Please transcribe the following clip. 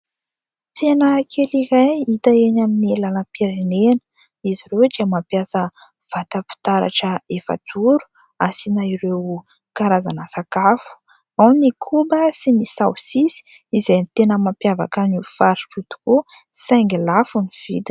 Tsena kely iray hita eny amin'ny lalam-pirenena. Izy ireo dia mampiasa vata-pitaratra efajoro asiana ireo karazana sakafo : ao ny koba sy ny saosisy izay tena mampiavaka an'io faritra io tokoa, saingy lafo ny vidiny.